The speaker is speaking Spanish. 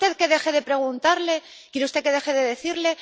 ¿Quiere usted que deje de preguntarle? ¿Quiere usted que deje de decirle?